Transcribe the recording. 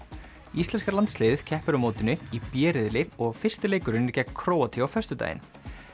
íslenska landsliðið keppir á mótinu í b riðli og fyrsti leikurinn er gegn Króatíu á föstudaginn